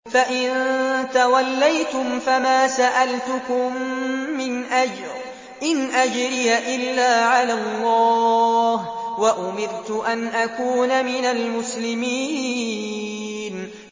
فَإِن تَوَلَّيْتُمْ فَمَا سَأَلْتُكُم مِّنْ أَجْرٍ ۖ إِنْ أَجْرِيَ إِلَّا عَلَى اللَّهِ ۖ وَأُمِرْتُ أَنْ أَكُونَ مِنَ الْمُسْلِمِينَ